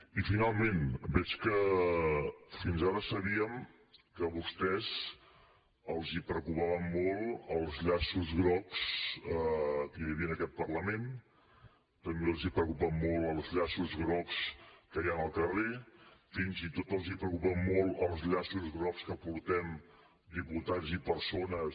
i finalment veig que fins ara sabíem que a vostès els preocupaven molt els llaços grocs que hi havia en aquest parlament també els preocupen molt els llaços grocs que hi ha al carrer fins i tot els preocupen molt els llaços grocs que portem diputats i persones